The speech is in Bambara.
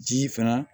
Ji fana